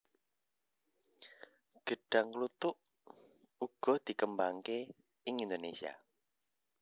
Gêdhang kluthuk uga dikembangaké ing Indonésia